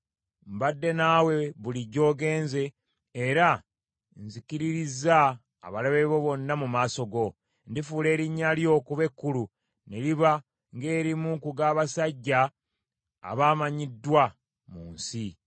Mbadde naawe buli gy’ogenze, era nzikiririzza abalabe bo bonna mu maaso go. Ndifuula erinnya lyo okuba ekkulu, ne liba ng’erimu ku g’abasajja abamanyiddwa mu nsi.